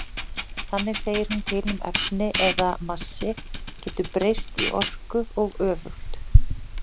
Þannig segir hún til um að efni eða massi getur breyst í orku og öfugt.